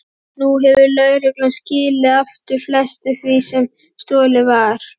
Nú hefur lögreglan skilað aftur flestu því sem stolið var.